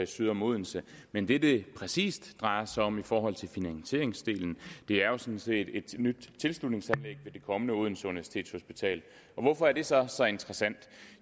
syd om odense men det det præcis drejer sig om i forhold til finansieringsdelen er jo sådan set et nyt tilslutningsanlæg ved det kommende odense universitetshospital hvorfor er det så så interessant